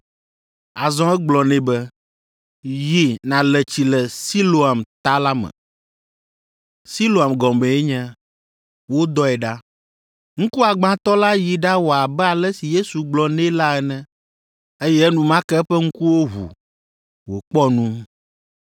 Azɔ egblɔ nɛ be, “Yi nàle tsi le Siloam Ta la me” (Siloam gɔmee nye, “Wodɔe ɖa”). Ŋkuagbãtɔ la yi ɖawɔ abe ale si Yesu gblɔ nɛ la ene, eye enumake eƒe ŋkuwo ʋu, wòkpɔ nu.